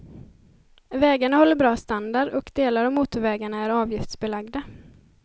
Vägarna håller bra standard och delar av motorvägarna är avgiftsbelagda.